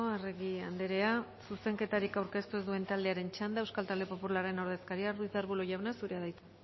arregi andrea zuzenketarik aurkeztu ez duen taldearen txanda euskal talde popularren ordezkaria ruiz de arbulo jauna zurea da hitza